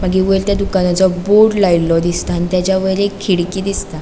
मागिर वयर थंय दुकानाचो बोर्ड लायलों दिसता आणि तेजा वयर एक खीड़की दिसता.